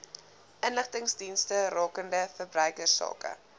inligtingsdienste rakende verbruikersake